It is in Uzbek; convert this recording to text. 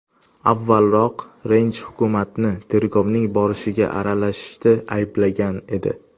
Avvalroq Range hukumatni tergovning borishiga aralashishda ayblagan edi.